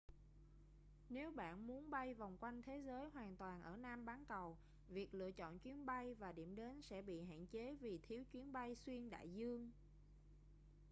nếu bạn muốn bay vòng quanh thế giới hoàn toàn ở nam bán cầu việc lựa chọn chuyến bay và điểm đến sẽ bị hạn chế vì thiếu chuyến bay xuyên đại dương